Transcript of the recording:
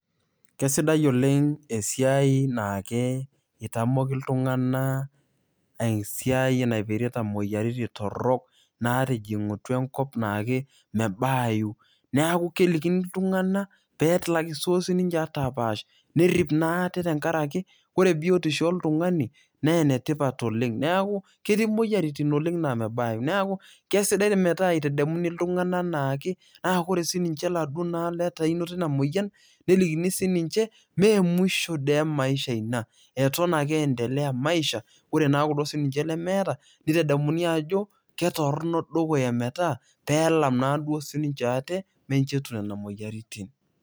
kesidai oleng naa keitamoki iltung'anak esiai naipirita imoyiaritin torok. natijing'utua enkop naa mebaayu neaku kelikini iltung'anak pee etum apaash nerip naa ate tenkaraki ore biotisho oltung'ani naa enetipat oleng'. neaku ketii imoyiaritin oleng' naa mebayu. neaku kesidai metaa eitadamuni iltung'anak ana ake naa ore sii ninche duo letaa einoto ina moyian, nelikini sii ninche , mee mwisho ee maisha ina. eton ake endelea maisha. ore naa sii ninche kelo lemeeta neitadamuni ajo, ketorono dukuya metaa pee elam naa duo sii ninche ate minjo etum nena moyiaritin.